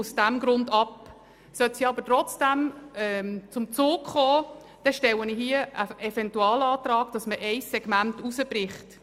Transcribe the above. Sollte sie trotzdem zum Zug kommen, stelle ich den Eventualantrag, ein Segment davon herauszubrechen.